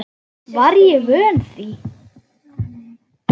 Var ég vön því?